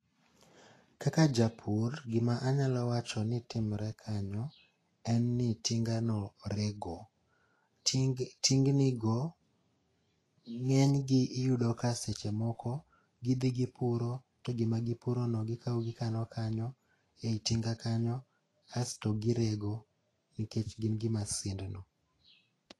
Kaka japur, gima anyalo wacho ni timre kenyo en ni tinga no rego. Ting tingni go ng'eny gi iyudo ka seche moko gidhi gipuro to gima gipuro no gidhi gikawo gikano kanyo. Ei tinga kany, asto girego nikech gin gi masind no.